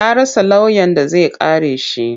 Ya rasa lauyan da zai kare shi.